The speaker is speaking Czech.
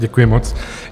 Děkuji moc.